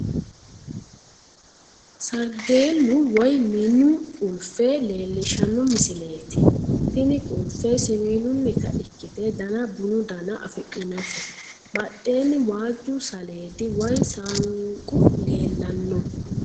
Sarageellu woyi minu qulfe leellishshanno misileeti. Tini qulfe siwiilunnita ikkite Dana bunu Dana afidhinote. Badheenni waajju saleedi woyi saanqu leellanno.